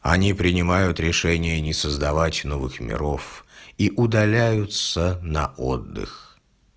они принимают решения не создавать новых миров и удаляются на отдых